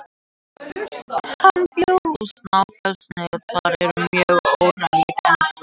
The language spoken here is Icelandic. Hann bjó á Snæfellsnesi og þar eru mörg örnefni kennd við hann.